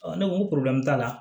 ne ko n ko t'a la